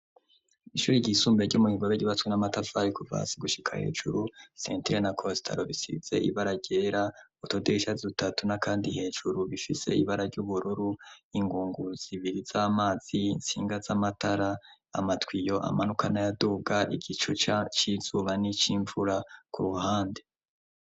Ishuri ryisumbuye ry'omu bigobe rgibatswe n'a matavar kuvasi gushika hejuru centena costelo bisize ibara yera otodeshia dutatuna kandi hejuru bifise ibara ry'ubururu ingunguzibiri z'amazi insinga z'amatara amatwiyo amanukana yaduga igico c c'izuba ni cy'imvura ku ruhande.